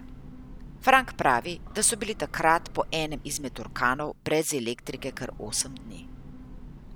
Frank pravi, da so bili takrat po enem izmed orkanov brez elektrike kar osem dni.